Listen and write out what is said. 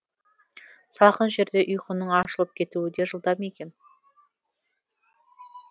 салқын жерде ұйқының ашылып кетуі де жылдам екен